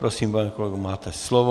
Prosím, pane kolego, máte slovo.